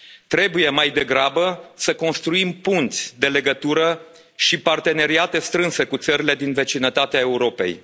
Trebuie mai degrabă să construim punți de legătură și parteneriate strânse cu țările din vecinătatea Europei.